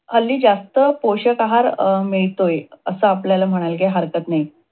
हल्ली जास्त पोषक आहार मिळतोय. अस आपल्याला म्हणायला काही हरकत नाही.